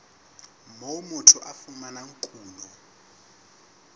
moo motho a fumanang kuno